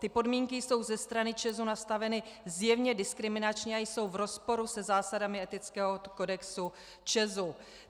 Ty podmínky jsou ze strany ČEZ nastaveny zjevně diskriminačně a jsou v rozporu se zásadami etického kodexu ČEZ.